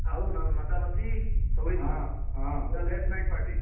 ଆଉ ନ ନଚାନଚି ସବୁ ହେଇଥିଲା ହଁ ହଁ ପୁରା late night party